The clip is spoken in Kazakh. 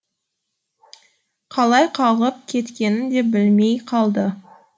қалай қалғып кеткенін де білмей қалды